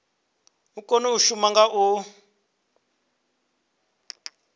kone u shuma nga u